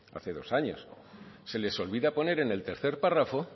hace dos años se les olvida poner en el tercer párrafo